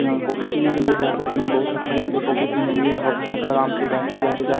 यहां कॉफी पीने के लिए जाते हैं जो इन्हें बहुत अच्छा लगता है कॉफी यह हब्स ।